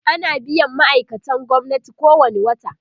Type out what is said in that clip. ana biyan ma'aikatan gwamnati kowani wata